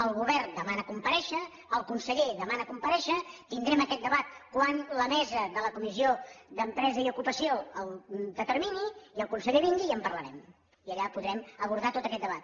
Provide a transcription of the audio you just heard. el govern demana comparèixer el conseller demana comparèixer tindrem aquest debat quan la mesa de la comissió d’empresa i ocupació ho determini i el conseller vingui i en parlarem i allà podrem abordar tot aquest debat